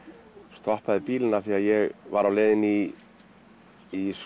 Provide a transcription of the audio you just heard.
stoppaði bílinn því ég var á leiðinni í í